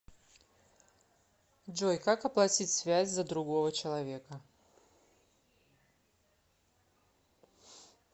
джой как оплатить связь за другого человека